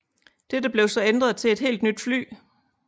Dette blev så ændret til et helt nyt fly